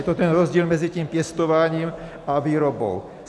Je to ten rozdíl mezi tím pěstováním a výrobou.